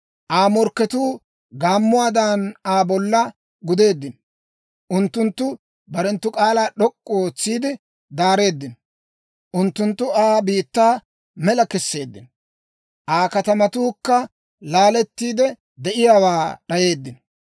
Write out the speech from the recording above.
Aa morkketuu gaammuwaadan, Aa bollan gudeeddino. Unttunttu barenttu k'aalaa d'ok'k'u ootsiide daareeddino; unttunttu Aa biittaa mela kesseeddino; Aa katamatuukka laalettiide, de'iyaawaa d'ayeeddino.